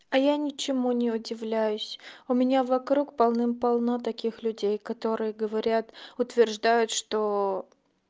а я ничему не удивляюсь у меня вокруг полным-полно таких людей которые говорят утверждают что